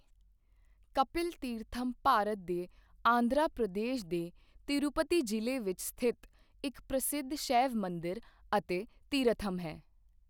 ਕਪਿਲ ਤੀਰਥਮ ਭਾਰਤ ਦੇ ਆਂਧਰਾ ਪ੍ਰਦੇਸ਼ ਦੇ ਤਿਰੂਪਤੀ ਜ਼ਿਲ੍ਹੇ ਵਿੱਚ ਸਥਿਤ ਇੱਕ ਪ੍ਰਸਿੱਧ ਸ਼ੈਵ ਮੰਦਿਰ ਅਤੇ ਤੀਰਥਮ ਹੈ।